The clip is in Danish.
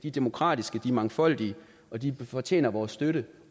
er demokratiske og mangfoldige og de fortjener vores støtte